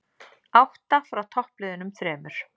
Átta frá toppliðunum þremur